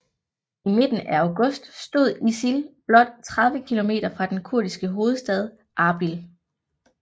I midten af august stod ISIL blot 30 kilometer fra den kurdiske hovedstad Arbil